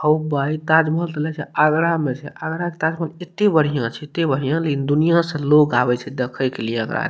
हो भाई ताजमहल तो लगे छे आगरा में छे आगरा के ताजमहल एते बढ़िया छे एते बढ़िया लेकिन दुनिया से लोग आवे छे देखे के लिए एकरा।